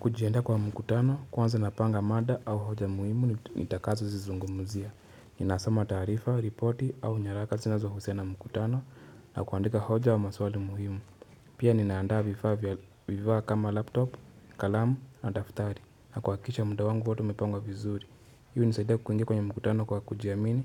Kujiandaa kwa mkutano kwanza napanga mada au hoja muhimu nitakazo zizungumuzia. Ninasoma taarifa, ripoti au nyaraka sinazo husiana na mkutano na kuandika hoja au maswali muhimu. Pia ninaandaa vifaa kama laptop, kalamu na daftari na kuhakikisha mda wangu wote umepangwa vizuri. Hi hunisaida kuingia kwenye mkutano kwa kujiamini,